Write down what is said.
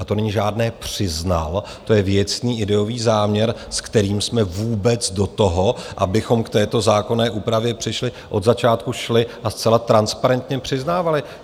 A to není žádné "přiznal", to je věcný ideový záměr, s kterým jsme vůbec do toho, abychom k této zákonné úpravě přišli, od začátku šli a zcela transparentně přiznávali.